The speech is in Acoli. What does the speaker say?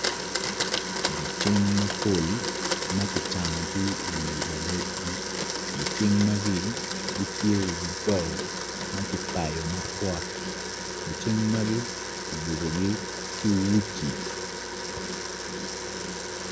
Gicing mapol ma kicanogi iwi luwotgi gicing magi gitye iwi bao ma kipayo mapwot gicing magi kiyubogi ki uci.